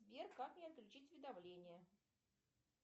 сбер как мне отключить уведомления